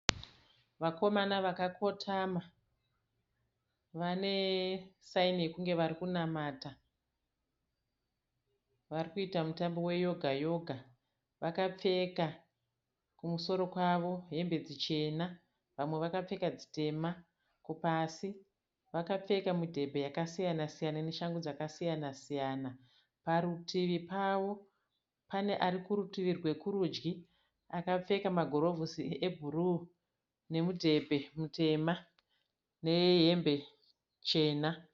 Vakomana vakakotama vane saini yekunge vari kunamata. Vari kuita mutambo weyoga yoga. Vakapfeka kumusoro kwavo hembe dzichena vamwe vakapfeka dzitema. Pasi vakapfeka midhebhe yakasiyana siyana neshangu dzakasiyana siyana. Parutivi pavo pane ari kurutivi rwekurudyi akapfeka magirovhosi ebhuruu nemudhebhe mutema nehembe chena.